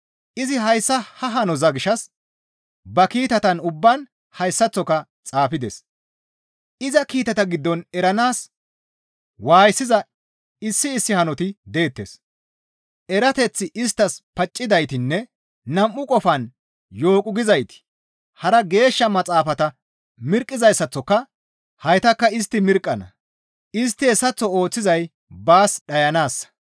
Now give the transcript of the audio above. Izi hayssa ha hanoza gishshas ba kiitatan ubbaan hayssaththoka xaafides; iza kiitata giddon eranaas waayisiza issi issi hanoti deettes; erateththi isttas paccidaytinne nam7u qofan yooqu gizayti hara Geeshsha Maxaafata mirqqizayssaththoka haytakka istti mirqqana; istti hessaththo ooththizay baas dhayanaassa.